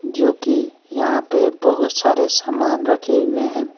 जो कि यहां पे बहुत सारे सामान रखे हुए हैं।